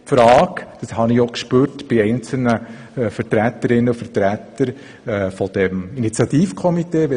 Das habe ich auch bei einigen Vertreterinnen und Vertretern des Initiativkomitees gespürt.